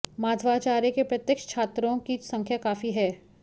माधवाचार्य के प्रत्यक्ष छात्रों की संख्या काफी थी